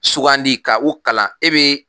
Sugandi ka u kalan e bɛ